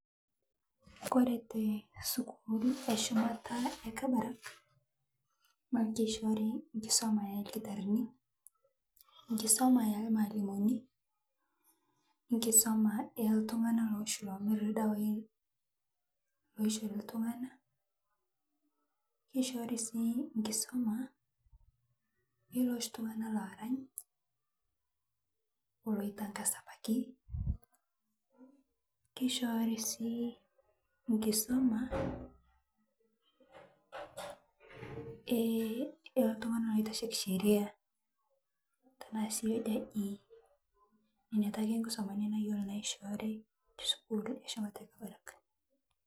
Ore tesikuul eshumata e Kabarak naa kishoori enkisuma orkitarrini enkisuma ormalimuni onkisuma oltung'anak oshi oomirr ildawaai kishoori sii nkisuma oloshi tung'anak oorany oloitangasa ebaiki ishoori sii enkisuma e oltung'anak oitasheiki sheria kuna ake nkisumaitin nayiolo naishoori tesukuul eshumata e Kabarak.